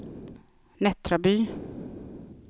Nättraby